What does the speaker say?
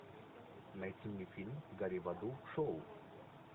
найти мне фильм гори в аду шоу